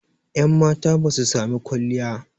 yanmata ba su samii kwalliya